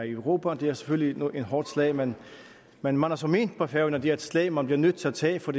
i europa det er selvfølgelig et hårdt slag men man har så ment fra færøernes det er et slag man er nødt til at tage for